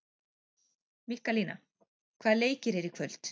Mikkalína, hvaða leikir eru í kvöld?